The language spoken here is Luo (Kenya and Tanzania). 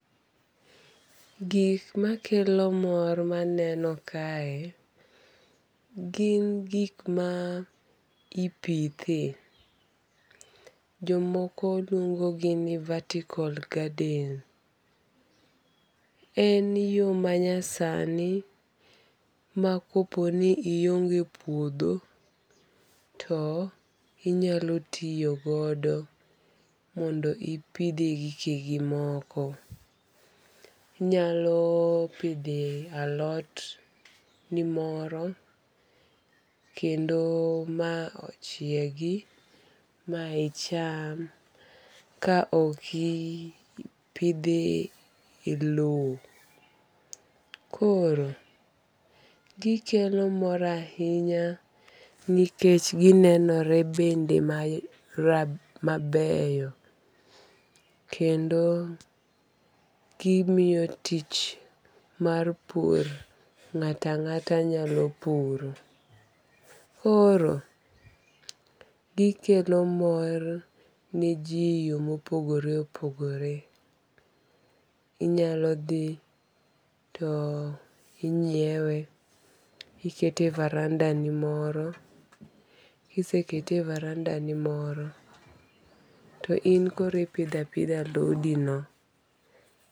Gik makelo mor maneno kae gin gik ma ipithe. Jomoko luongo gi ni vertical garden. En yo manyasani ma kopo ni ionge puodho to inyalo tiyogodo mondo ipidhe gikegi moko. Inyalo pidhe alot ni moro kendo ma ochiegi ma icham ka oki pidhe e low. Koro, gikelo mor ahinya nikech ginenore bende mabeyo kendo gimiyo tich mar pur ng'ato ang'ata nyalo puro. Koro gikelo mor ne ji e yo mopogore opogore. Inyalo dhi to inyiewe, ikete e varanda ni moro. Kisekete e varanda ni moro, to in koro ipidho apidha alodi no.